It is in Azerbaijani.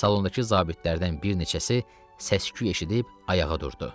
Salondakı zabitlərdən bir neçəsi səs-küy eşidib ayağa durdu.